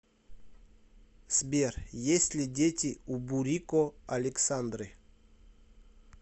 сбер есть ли дети у бурико александры